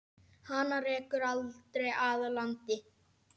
Hana rekur aldrei að landi.